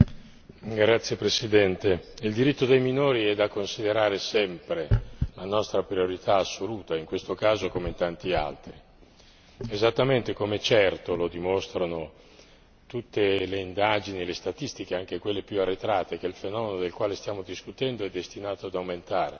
Signora Presidente, onorevoli colleghi, il diritto dei minori è da considerare sempre la nostra priorità assoluta, in questo caso come in tanti altri. Come certo lo dimostrano tutte le indagini e le statistiche, anche quelle più arretrate, il fenomeno del quale stiamo discutendo è destinato ad aumentare.